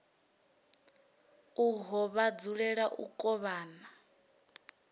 uho vha dzulela u kovhana